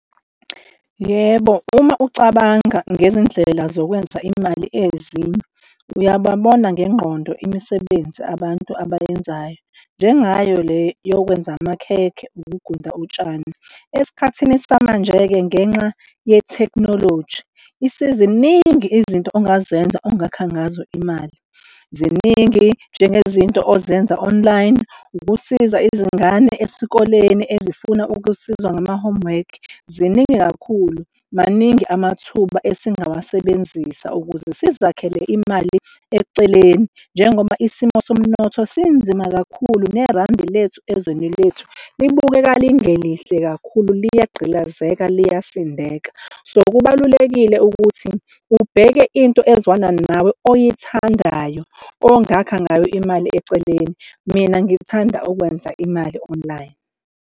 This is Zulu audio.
Yebo, uma ucabanga ngezindlela zokwenza imali, ezinye uyababona ngengqondo imisebenzi, abantu abayenzayo njengayo le yokwenza amakhekhe, ukugunda utshani. Esikhathini samanje-ke ngenxa yethekhnoloji ziningi izinto ongazenza ongakha ngazo imali, ziningi njengezinto ozenza online. Ukusiza izingane esikoleni ezifuna ukusizwa ngama-homework ziningi kakhulu. Maningi amathuba esingawasebenzisa ukuze sizakhele imali eceleni njengoba isimo somnotho sinzima kakhulu nerandi lethu ezweni lethu libukeka lingelihle kakhulu, liyagqilazeka, liyasindeka. So, kubalulekile ukuthi ubheke into ezwana, nawe oyithandayo ongakha ngayo imali eceleni. Mina ngithanda ukwenza imali online.